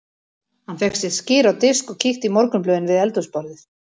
Hann fékk sér skyr á disk og kíkti í morgunblöðin við eldhúsborðið.